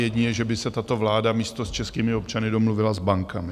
Jedině, že by se tato vláda místo s českými občany domluvila s bankami.